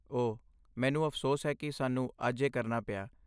ਓਹ, ਮੈਨੂੰ ਅਫ਼ਸੋਸ ਹੈ ਕਿ ਸਾਨੂੰ ਅੱਜ ਇਹ ਕਰਨਾ ਪਿਆ।